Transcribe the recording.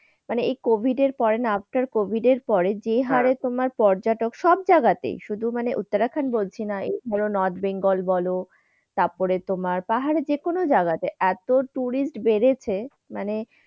মানে এই covid এর পরে না after covid এর পরে যে হারে তোমার পর্যটক সব জায়গাতে, শুধু মানে উত্তরাখান্ড বলছি না এই ধর নর্থ-বেঙ্গল বল তারপরে পাহাড়ে যে কোন জায়গাতে এত tourist বেড়েছে মানে,